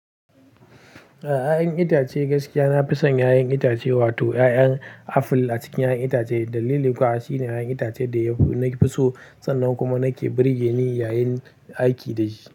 A ya'yan itace gaskiya, na fi son 'ya'yan itace, wato 'ya'yan aful a cikin 'ya'yan itace. Dalili kuwa shine 'ya'yan itace da ya fi nake so, sannan kuma nake birgeni yayin aiki da shi.